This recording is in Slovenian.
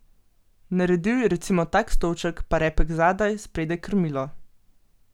Naredil je recimo tak stolček, pa repek zadaj, spredaj krmilo.